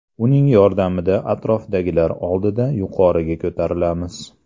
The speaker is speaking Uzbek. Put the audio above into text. Uning yordamida atrofdagilar oldida yuqoriga ko‘tarilamiz” .